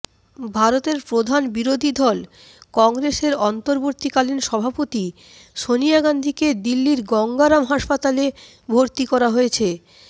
ভারতের প্রধান বিরোধীদল কংগ্রেসের অন্তর্বর্তীকালীন সভাপতি সোনিয়া গান্ধীকে দিল্লির গঙ্গা রাম হাসপাতালে ভর্তি করা হয়েছে